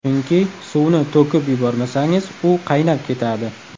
Chunki, suvni to‘kib yubormasangiz, u qaynab ketadi.